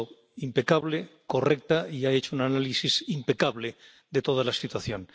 Ha sido impecable, correcta y ha hecho un análisis impecable de toda la situación.